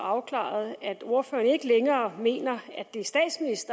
afklaret at ordføreren ikke længere mener